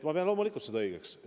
Ma pean loomulikult seda õigeks.